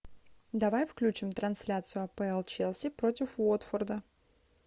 давай включим трансляцию апл челси против уотфорда